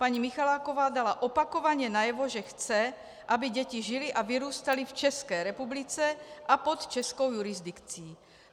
Paní Michaláková dala opakovaně najevo, že chce, aby děti žily a vyrůstaly v České republice a pod českou jurisdikcí.